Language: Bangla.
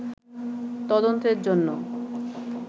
তদন্তের জন্য